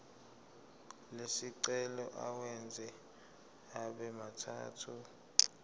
lesicelo uwenze abemathathu